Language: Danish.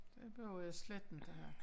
Det behøver jeg slet ikke at have